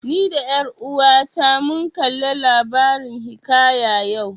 Ni da ƴar uwata mun kalla labarin hiƙaya yau